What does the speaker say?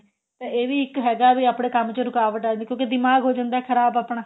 ਤਾਂ ਇਹ ਵੀ ਇੱਕ ਹੈਗਾ ਵੀ ਆਪਣੇ ਕੰਮ ਚ ਰੁਕਾਵਟ ਆ ਕਿਉਂਕਿ ਦਿਮਾਗ ਹੋ ਜਾਂਦਾ ਖਰਾਬ ਆਪਣਾ